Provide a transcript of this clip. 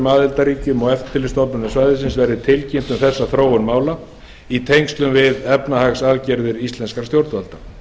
aðildarríkjum og eftirlitsstofnunum svæðisins verði tilkynnt um þessa þróun mála í tengslum við efnahagsaðgerðir íslenskra stjórnvalda